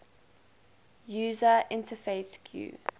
user interface gui